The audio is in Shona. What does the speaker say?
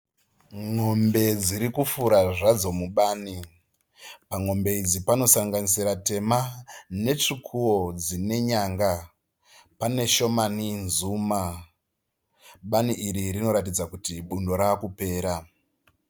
Mombe dziri kufura zvadzo mubani. Pamombe idzi panosanganisira tema netsvukuwo dzine nyanga. Pane shomani nzuma. Bani iri rinoratidza kuti bundo rava kupera.